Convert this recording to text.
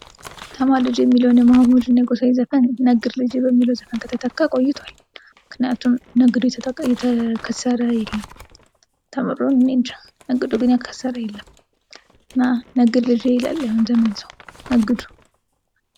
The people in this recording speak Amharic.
ተማር ልጄ የሚለውን የመሐመድ የጎሳየ ዘፈን ነግድ ልጀ በሚለው ዘፈን ከተተካ ቆይቶአል። ምክንያቱም ነግዶ የከሰረ የለም ተምሮ እኔ እንጃ ነግዶ የከሰረ የለም እና ነግድ ልጄ ይላል የአሁን ዘመን ሰው ነግዱ!